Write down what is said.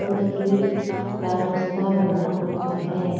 Concrete का रास्ता बना हुआ है।